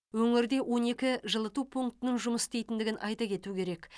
өңірде он екі жылыту пунктінің жұмыс істейтіндігін айта кету керек